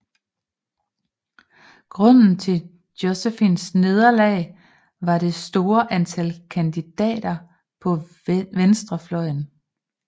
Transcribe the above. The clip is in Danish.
Grunden til Jospins nederlag var det store antal kandidater på venstrefløjen